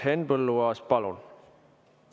Henn Põlluaas, palun!